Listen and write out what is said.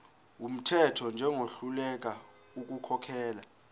wumthetho njengohluleka ukukhokhela